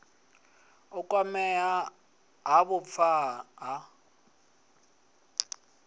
u kwamea ha vhupfa ha